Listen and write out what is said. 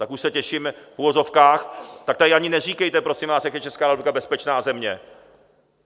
Tak už se těším, v uvozovkách, tak tady ani neříkejte, prosím vás, jak je Česká republika bezpečná země.